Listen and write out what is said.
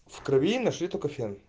в крови нашли только фен